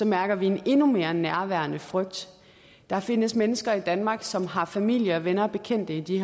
mærker vi en endnu mere nærværende frygt der findes mennesker i danmark som har familie og venner og bekendte i de